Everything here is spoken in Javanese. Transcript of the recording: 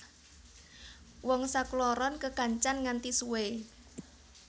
Wong sakloron kekancan nganti suwe